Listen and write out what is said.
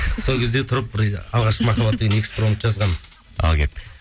сол кезде тұрып бір алғашқы махаббат деген экспромт жазғанмын ал кеттік